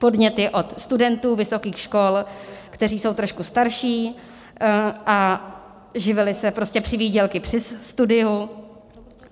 Podnět je od studentů vysokých škol, kteří jsou trošku starší a živili se prostě přivýdělky při studiu.